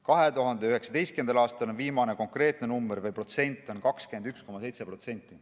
2019. aastal oli see number, viimane number, mis meil on, 21,7%.